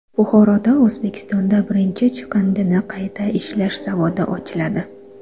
Buxoroda O‘zbekistonda birinchi chiqindini qayta ishlash zavodi ochiladi.